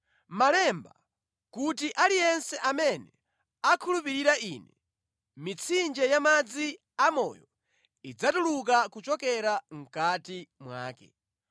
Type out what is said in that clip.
Malemba kuti ‘Aliyense amene akhulupirira Ine, mitsinje yamadzi amoyo idzatuluka kuchokera mʼkati mwake.’ ”